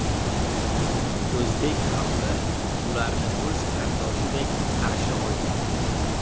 O‘zbek xalqi ularni o‘z qardoshidek qarshi olgan.